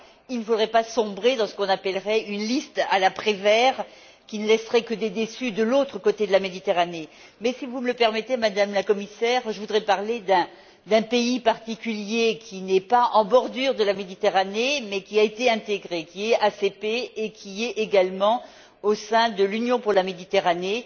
Mais il ne faudrait pas sombrer dans ce qu'on appellerait une liste à la Prévert qui ne laisserait que des déçus de l'autre côté de la Méditerranée. Mais, si vous me le permettez, Madame la Commissaire, je voudrais parler d'un pays particulier qui ne se trouve pas en bordure de la Méditerranée mais qui a été intégré, qui est un pays ACP et qui est également membre de l'Union pour la Méditerranée.